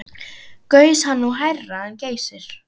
Gaus hann nú hærra en Geysir.